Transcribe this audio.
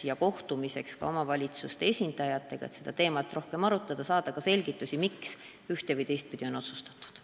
Võime kohtuda ka omavalitsuste esindajatega, et seda teemat rohkem arutada ja saada selgitusi, miks ühte- või teistpidi on otsustatud.